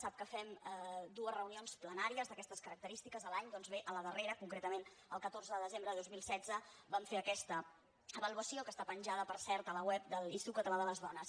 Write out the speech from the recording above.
sap que fem dues reunions plenàries d’aquestes característiques l’any doncs bé a la darrera concretament el catorze de desembre de dos mil setze vam fer aquesta avaluació que està penjada per cert a la web de l’institut català de les dones